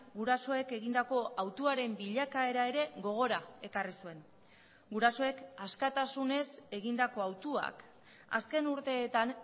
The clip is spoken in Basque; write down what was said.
gurasoek egindako hautuaren bilakaera ere gogora ekarri zuen gurasoek askatasunez egindako hautuak azken urteetan